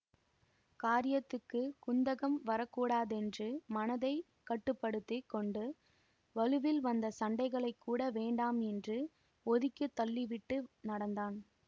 காரியத்துக்குத் குந்தகம் வரக்கூடாதென்று மனத்தை கட்டு படுத்தி கொண்டு வலுவில் வந்த சண்டைகளைக்கூட வேண்டாம் என்று ஒதுக்கி தள்ளிவிட்டு நடந்தான்